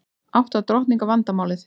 Átta drottninga vandamálið